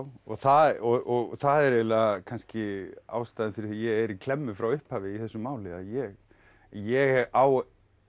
og það og það er eiginlega kannski ástæðan fyrir því að ég er klemmu frá upphafi í þessu máli að ég ég á